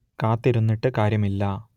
കാത്തിരുന്നിട്ട് കാര്യമില്ല